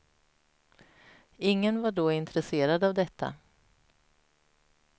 Ingen var då intresserad av detta.